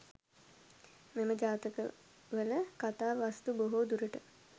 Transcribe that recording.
මෙම ජාතකවල කතා වස්තු බොහෝ දුරට